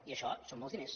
i això són molts diners